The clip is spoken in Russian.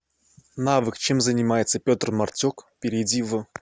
навык чем занимается петр мартюк перейди в